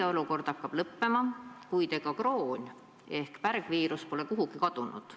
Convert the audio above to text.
Eriolukord hakkab lõppema, kuid ega kroon- ehk pärgviirus pole kuhugi kadunud.